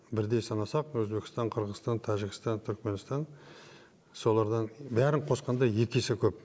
бірдей санасақ өзбекстан қырғызстан тәжікстан түрікменстан солардың бәрін қосқанда екі есе көп